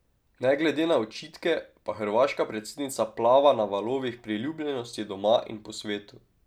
Ne glede na očitke pa hrvaška predsednica plava na valovih priljubljenosti doma in po svetu.